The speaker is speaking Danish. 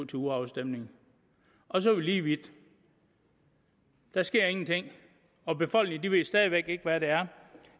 til urafstemning og så er vi lige vidt der sker ingenting og befolkningen ved stadig væk ikke hvad det er